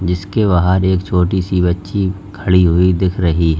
इसके बाहर एक छोटी सी बच्ची खड़ी हुई दिख रही है।